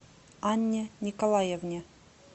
анне николаевне